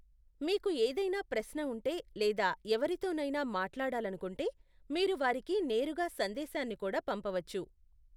మీకు ఏదైనా ప్రశ్న ఉంటే లేదా ఎవరితోనైనా మాట్లాడాలనుకుంటే మీరు వారికి నేరుగా సందేశాన్ని కూడా పంపవచ్చు.